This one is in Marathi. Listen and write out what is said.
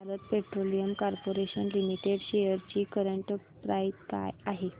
Bharat Petroleum Corporation Limited shares ची करंट प्राइस काय आहे